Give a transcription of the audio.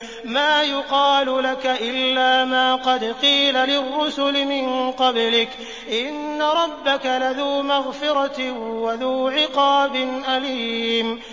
مَّا يُقَالُ لَكَ إِلَّا مَا قَدْ قِيلَ لِلرُّسُلِ مِن قَبْلِكَ ۚ إِنَّ رَبَّكَ لَذُو مَغْفِرَةٍ وَذُو عِقَابٍ أَلِيمٍ